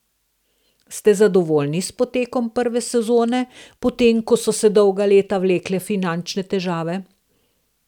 Ste zadovoljni s potekom prve sezone, potem ko so se dolga leta vlekle finančne težave?